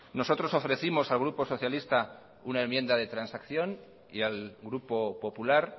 nosotros ofrecimos al grupo socialista una enmienda de transacción y al grupo popular